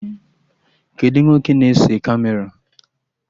Kedụ nwoke na-ese Kamera?